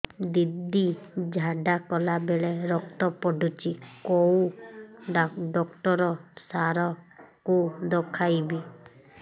ଦିଦି ଝାଡ଼ା କଲା ବେଳେ ରକ୍ତ ପଡୁଛି କଉଁ ଡକ୍ଟର ସାର କୁ ଦଖାଇବି